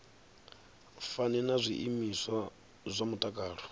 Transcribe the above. fani na zwiimiswa zwa mutakalo